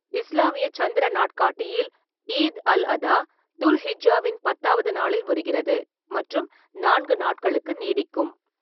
இஸ்லாமிய சந்திர நாட்காட்டியில், ஈத் அல்-அதா துல்-ஹிஜ்ஜாவின் பத்தாவது நாளில் வருகிறது மற்றும் நான்கு நாட்களுக்கு நீடிக்கும்.